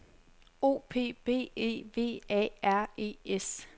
O P B E V A R E S